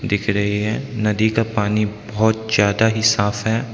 दिख रही है नदी का पानी बहोत ज्यादा ही साफ है।